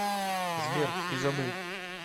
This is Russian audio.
сбер изабель